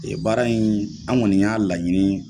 baara in an kɔni y'a laɲini